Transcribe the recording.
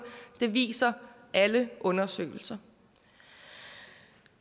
det viser alle undersøgelser